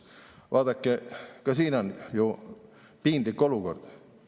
Vaadake, ka siin on ju piinlik olukord.